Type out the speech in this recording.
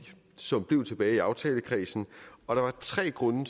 som blev tilbage i aftalekredsen og der var tre grunde